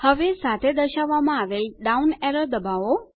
હવે સાથે દર્શાવવામાં આવેલ ડાઉન એરો દબાવો